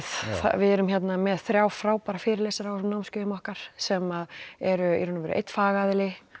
við erum með þrjá frábæra fyrirlesara á þessum námskeiðum okkar sem eru í raun og veru einn fagaðili